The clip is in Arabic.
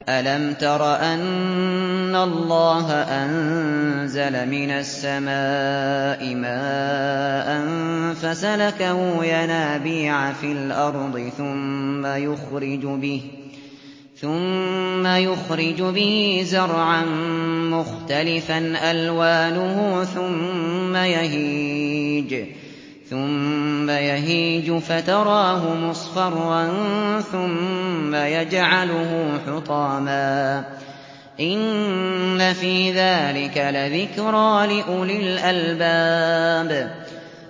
أَلَمْ تَرَ أَنَّ اللَّهَ أَنزَلَ مِنَ السَّمَاءِ مَاءً فَسَلَكَهُ يَنَابِيعَ فِي الْأَرْضِ ثُمَّ يُخْرِجُ بِهِ زَرْعًا مُّخْتَلِفًا أَلْوَانُهُ ثُمَّ يَهِيجُ فَتَرَاهُ مُصْفَرًّا ثُمَّ يَجْعَلُهُ حُطَامًا ۚ إِنَّ فِي ذَٰلِكَ لَذِكْرَىٰ لِأُولِي الْأَلْبَابِ